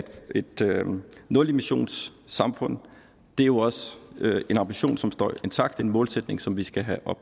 et nulemissions samfund er jo også en ambition som står intakt en målsætning som vi skal have